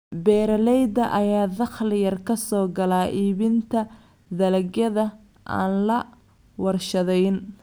Beeralayda ayaa dakhli yar ka soo gala iibinta dalagyada aan la warshadayn.